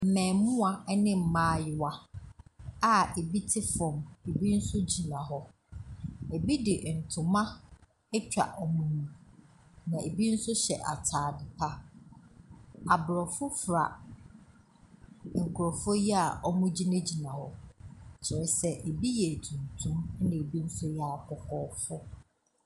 Mmaamua ne mmayewa a ebi te fam, ebi nso gyina hɔ. Ebi de ntoma atwa wɔn mu, na ebi nso hyɛ atade pa. Aborɔfo fra nkurɔfoɔ yi a wɔgyinagyina hɔ, kyerɛ sɛ ebi yɛ tuntum, ɛnna ebi nso yɛ akɔkɔɔfoɔ.